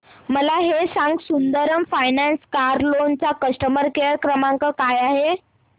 मला हे सांग सुंदरम फायनान्स कार लोन चा कस्टमर केअर क्रमांक काय आहे